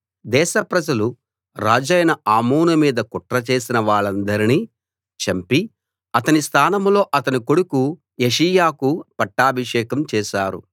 దేశ ప్రజలు రాజైన ఆమోను మీద కుట్ర చేసిన వాళ్ళందర్నీ చంపి అతని స్థానంలో అతని కొడుకు యోషీయాకు పట్టాభిషేకం చేశారు